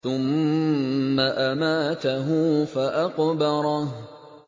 ثُمَّ أَمَاتَهُ فَأَقْبَرَهُ